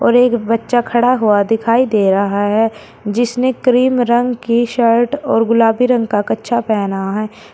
और एक बच्चा खड़ा हुआ दिखाई दे रहा है जिसने क्रीम रंग की शर्ट और गुलाबी रंग का कच्छा पहना है।